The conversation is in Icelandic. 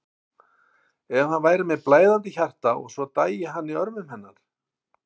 En hann væri með blæðandi hjarta og svo dæi hann í örmum hennar.